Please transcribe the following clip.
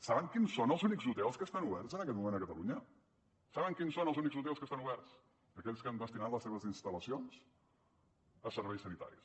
saben quins són els únics hotels que estan oberts en aquest moment a catalunya saben quins són els únics hotels que estan oberts aquells que han destinat les seves instal·lacions a serveis sanitaris